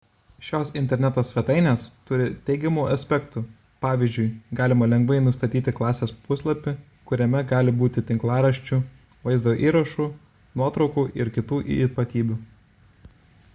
šios interneto svetainės turi teigiamų aspektų pavyzdžiui galima lengvai nustatyti klasės puslapį kuriame gali būti tinklaraščių vaizdo įrašų nuotraukų ir kitų ypatybių